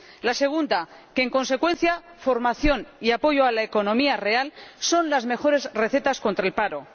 La segunda es que, en consecuencia, formación y apoyo a la economía real son las mejores recetas contra el paro.